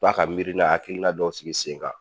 To a ka miirina hakilina dɔw sigi sen kan.